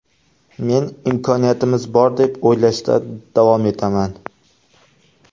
Men imkoniyatimiz bor deb o‘ylashda davom etaman.